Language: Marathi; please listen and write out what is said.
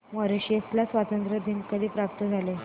मॉरिशस ला स्वातंत्र्य कधी प्राप्त झाले